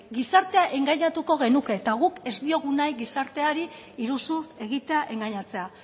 gizartea engainatuko genuke eta guk ez diogu nahi gizarteari iruzur egitea engainatzea